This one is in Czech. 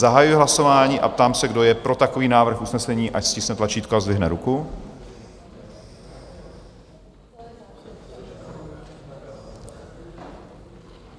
Zahajuji hlasování a ptám se, kdo je pro takový návrh usnesení, ať stiskne tlačítko a zdvihne ruku.